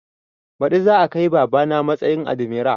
Baɗi za a kai baba na matsayin admira